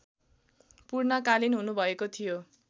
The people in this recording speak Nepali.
पूर्णकालीन हुनुभएको थियो